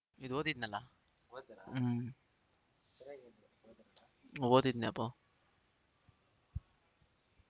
ಇದ್ ಓದಿದ್ನಲ್ಲ ಓದ್ರಾ ಹೂಮ್ ಸರ್ಯಾಗಿ ಓದಿನ್ಯಪ್ಪಾ